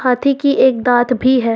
हाथी की एक दांत भी है।